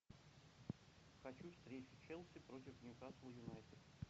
хочу встречу челси против ньюкасл юнайтед